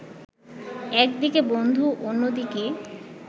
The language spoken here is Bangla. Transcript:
একদিকে বন্ধু অন্যদিকে